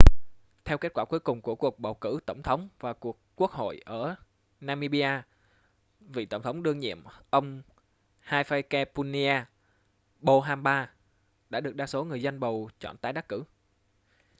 theo kết quả cuối cùng của cuộc bầu cử tổng thống và quốc hội ở namibia vị tổng thống đương nhiệm ông hifikepunye pohamba đã được đa số người dân bầu chọn tái đắc cử